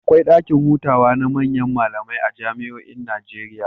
Akwai ɗakin hutawa na manyan malamai a jami'oin Najeriya.